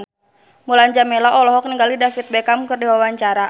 Mulan Jameela olohok ningali David Beckham keur diwawancara